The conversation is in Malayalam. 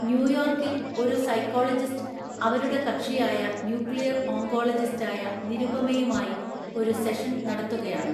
ന്യൂയോർക്കിൽ ഒരു സൈക്കോളജിസ്റ്റ് അവരുടെ കക്ഷിയായ ന്യൂക്ലിയർ ഓങ്കോളജിസ്റ്റായ നിരുപമയുമായി ഒരു സെഷൻ നടത്തുകയാണ്.